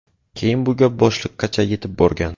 Keyin bu gap boshliqqacha yetib borgan.